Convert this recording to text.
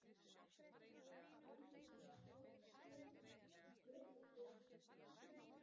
Allan var markaskorari en hver á að skora mörkin í sumar?